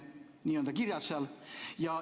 Nii on seal kirjas.